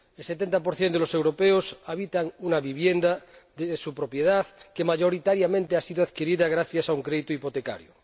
El 70 de los europeos habita una vivienda de su propiedad que mayoritariamente ha sido adquirida gracias a un crédito hipotecario.